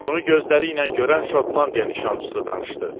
Bunu gözləriylə görən Şotlandiya nişançısı danışdı.